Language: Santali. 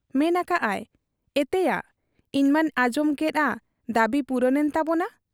ᱢᱮᱱ ᱟᱠᱟᱜ ᱟᱭ, 'ᱮᱛᱮᱭᱟ ᱤᱧᱢᱟᱹᱧ ᱟᱸᱡᱚᱢᱮᱜ ᱟ ᱫᱟᱹᱵᱤ ᱯᱩᱨᱩᱱ ᱮᱱ ᱛᱟᱵᱚᱱᱟ ᱾